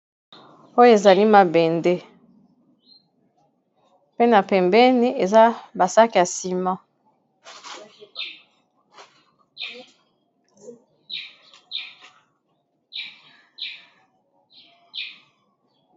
Oyo ezali mabende pe na pembeni eza basaki ya sima.